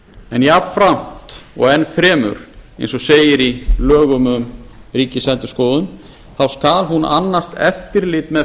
en jafnframt og enn fremur eins og segir í lögum um ríkisendurskoðun þá skal hún annast eftirlit með